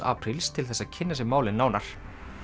apríl til þess að kynna sér málið nánar